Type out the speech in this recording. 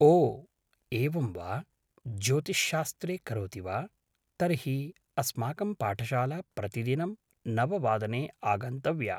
ओ एवं वा ज्योतिश्शास्त्रे करोति वा तर्हि अस्माकं पाठशाला प्रतिदिनं नववादने आगन्तव्या